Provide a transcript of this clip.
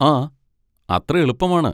ആ, അത്ര എളുപ്പമാണ്.